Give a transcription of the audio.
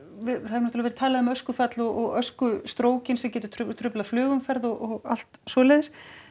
náttúrulega verið talað um öskufall og öskustrókinn sem getur truflað truflað flugumferð og allt svoleiðis